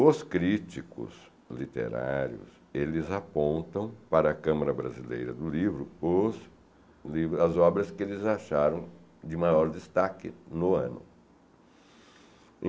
Os críticos literários, eles apontam para a Câmara Brasileira do Livro os livro, as obras que eles acharam de maior destaque no ano.